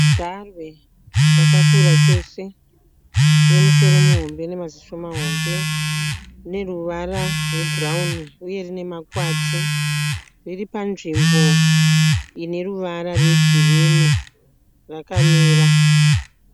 Garwe rakakura chose rine musoro muhombe nemaziso mahombe. Rine ruvara rwebhurawuni uye rine makwati. Riri panzvimbo ine ruvara rwegirinhi. Rakamira.